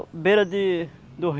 Beira de do